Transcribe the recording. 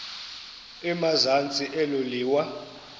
emazantsi elo liwa